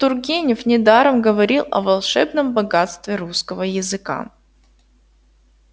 тургенев недаром говорил о волшебном богатстве русского языка